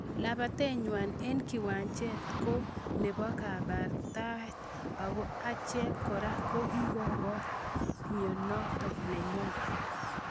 Lapatet nywon eng kiwanjet ko nepo kebartat ako achek kore kokikiboru nwwonindo nenyon.